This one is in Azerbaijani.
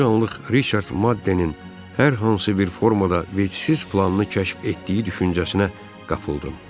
Bir anlıq Riçard Maddenin hər hansı bir formada vecsiz planını kəşf etdiyi düşüncəsinə qapıldım.